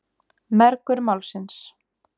Mergur Málsins.